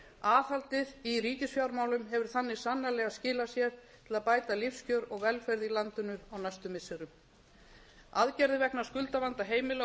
aðhaldið í ríkisfjármálum hefur þannig sannarlega skilað sér til að bæta lífskjör og velferð í landinu á næstu missirum aðgerðir vegna skuldavanda heimila og